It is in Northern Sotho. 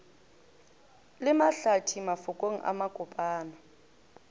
le mahlathi mafokong a makopana